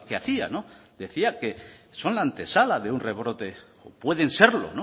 hacía decía que son la antesala de un rebrote o pueden serlo